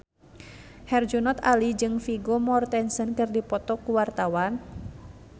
Herjunot Ali jeung Vigo Mortensen keur dipoto ku wartawan